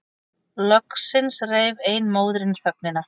Loksins rauf ein móðirin þögnina.